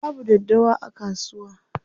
Babu daddawa a kasuwa.